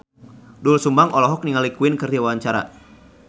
Doel Sumbang olohok ningali Queen keur diwawancara